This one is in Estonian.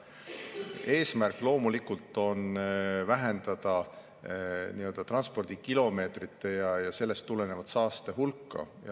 Eesmärk on loomulikult vähendada transpordikilomeetrite ja sellest tuleneva saaste hulka.